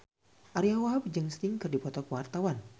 Ariyo Wahab jeung Sting keur dipoto ku wartawan